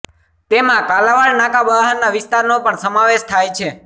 તેમાં કાલાવડ નાકા બહારના વિસ્તારનો પણ સમાવેશ થાય છે